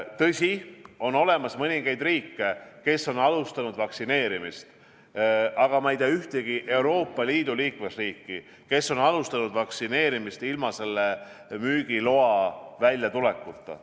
Tõsi, on olemas mõningaid riike, kes on alustanud vaktsineerimist, aga ma ei tea ühtegi Euroopa Liidu liikmesriiki, kes oleks alustanud vaktsineerimist ilma selle müügiloa väljatulekuta.